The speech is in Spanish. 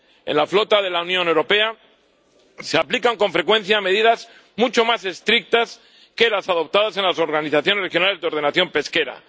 En la flota de la Unión Europea se aplican con frecuencia medidas mucho más estrictas que las adoptadas en las organizaciones regionales de ordenación pesquera.